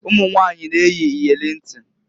Ụmunwanyị na - eyi iyeli ntị.